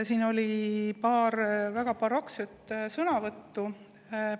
Siin oli paar väga barokset sõnavõttu.